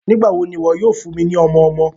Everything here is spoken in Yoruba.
Nigbawo ni iwọ yoo fun mi ni ọmọ-ọmọ?